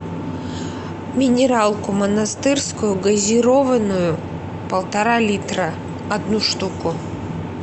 минералку монастырскую газированную полтора литра одну штуку